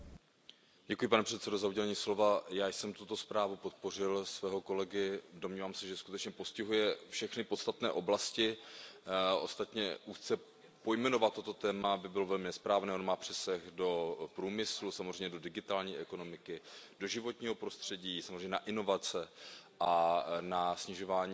Pane předsedající, já jsem tuto zprávu svého kolegy podpořil, domnívám se, že skutečně postihuje všechny podstatné oblasti, ostatně úzce pojmenovat toto téma by bylo velmi nesprávné, ono má přesah do průmyslu, samozřejmě do digitální ekonomiky, do životního prostředí, samozřejmě na inovace a na snižování emisí.